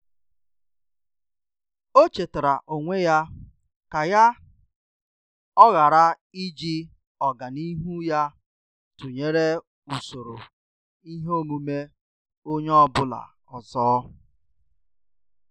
Ọ́ chètàrà onwe ya kà yá ọghara íjí ọ́gànihu ya tụnyere usoro ihe omume onye ọ bụla ọzọ.